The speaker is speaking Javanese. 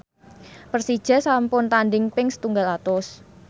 Persija sampun tandhing ping setunggal atus